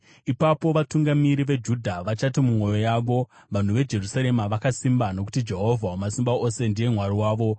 Ipapo vatungamiri veJudha vachati mumwoyo yavo, ‘Vanhu veJerusarema vakasimba, nokuti Jehovha Wamasimba Ose ndiye Mwari wavo.’